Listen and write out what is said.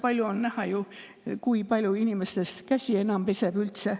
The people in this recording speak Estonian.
On ju näha, kui palju inimesi üldse veel käsi peseb.